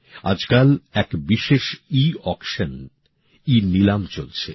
আজকাল এক বিশেষ ইঅকশন ইনীলাম চলছে